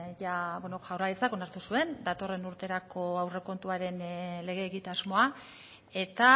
jadia bueno jaurlaritzak onartu zuen datorren urterako aurrekontuaren lege egitasmoa eta